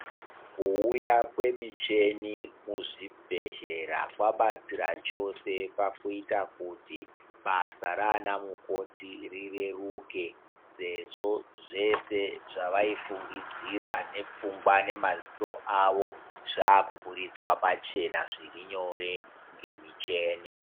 Kuuya kwemicheni muzvibhedhlera kwabatsira chose pakuita kuti basa rana mukoti rureruke. Sezvo zvese zvavaifungidzira nepfungwa nemaziso avo zvakubuditsva pachena zviri nyore ngemicheni.